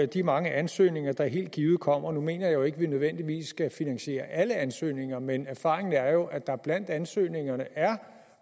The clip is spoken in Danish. de mange ansøgninger der helt givet kommer nu mener jeg jo ikke at vi nødvendigvis skal finansiere alle ansøgninger men erfaringen er jo at der blandt ansøgningerne er